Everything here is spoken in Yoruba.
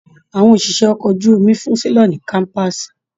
Àwọn òṣìṣẹ́ ọkọ̀ ojú omi fún selọ̀ ní kọ́mpaasi.